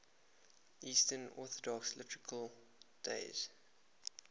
eastern orthodox liturgical days